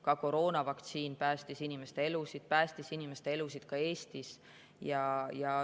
Ka koroonavaktsiin päästis inimeste elusid, päästis inimeste elusid ka Eestis.